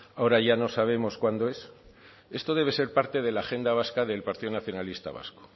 ahora ya no sabemos cuándo es esto debe ser parte de la agenda vasca del partido nacionalista vasco